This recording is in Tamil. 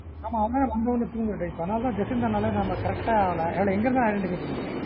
ஆமா அவங்களா வந்த உடனே தூங்குற type தான். நா அதான் ஜெசிந்தா னாலே நா அதான் correct ஆ அதுல எங்கயிருந்தாலும் identify பண்ணீடுவன்